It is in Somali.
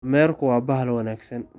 Dameerku waa bahal wanaagsan.